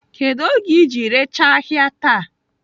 Kedu oge iji rechaa ahịa taa?